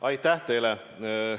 Aitäh teile!